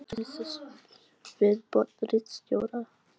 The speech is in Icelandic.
Viðbót ritstjóra: